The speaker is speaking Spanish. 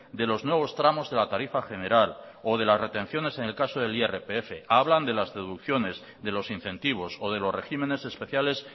de los nuevos tramos de la tarifa general o de las retenciones en el caso del irpf hablan de las deducciones de los incentivos o de los regímenes especiales